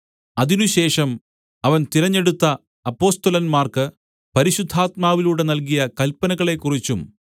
അതിനുശേഷം അവൻ തിരഞ്ഞെടുത്ത അപ്പൊസ്തലന്മാർക്ക് പരിശുദ്ധാത്മാവിലൂടെ നല്കിയ കല്പനകളെക്കുറിച്ചും